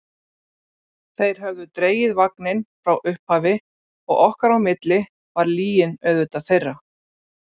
Þeir höfðu dregið vagninn frá upphafi og okkar á milli var lygin auðvitað þeirra.